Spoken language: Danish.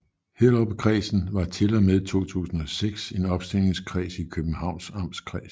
Hellerupkredsen var til og med 2006 en opstillingskreds i Københavns Amtskreds